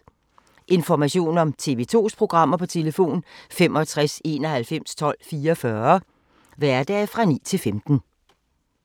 Information om TV 2's programmer: 65 91 12 44, hverdage 9-15.